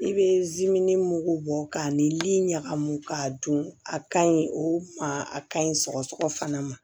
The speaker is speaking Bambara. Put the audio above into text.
I bɛ mugu bɔ k'a ni ɲagamu k'a dun a kaɲi o ma a ka ɲi sɔgɔsɔgɔ fana ma